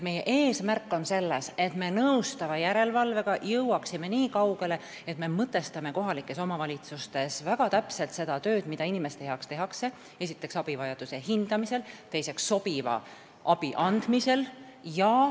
Meie eesmärk on jõuda nõustava järelevalvega nii kaugele, et me mõtestame kohalikes omavalitsustes väga täpselt seda tööd, mida inimeste heaks tehakse: esiteks, abivajaduse hindamisel ja teiseks, sobiva abi andmisel.